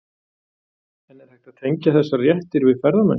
En er hægt að tengja þessar réttir við ferðamennsku?